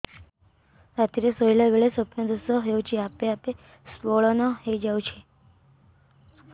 ରାତିରେ ଶୋଇଲା ବେଳେ ସ୍ବପ୍ନ ଦୋଷ ହେଉଛି ଆପେ ଆପେ ସ୍ଖଳନ ହେଇଯାଉଛି